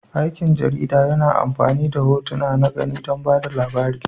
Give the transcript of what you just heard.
Aikin jarida yana amfani da hotuna na gani don ba da labari.